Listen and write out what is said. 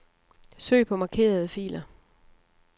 Søg på markerede filer.